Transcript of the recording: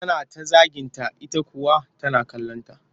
Tana ta zaginta ita kuwa tana kallonta